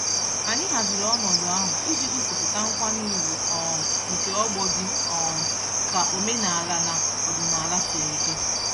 Anyị haziri ọnọdụ ahụ iji gosipụta nkwanye ugwu um nke ọgbọ dị um ka omenaala na ọdịnaala sịrị dị.